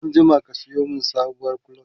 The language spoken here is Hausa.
anjima ka Sayo min sabuwar clutch!